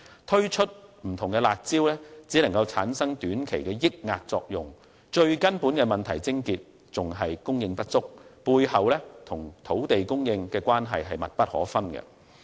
推出不同的"辣招"只能產生短期的遏抑作用，問題的癥結依然是供應不足，背後與土地供應的關係密不可分。